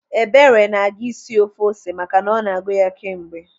Ebere na-aga isi ofe ose maka na ọ na-agụ ya kemgbe.